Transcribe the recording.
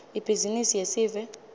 ibhizimisi yesive